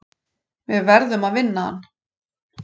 Við verðum að vinna hann.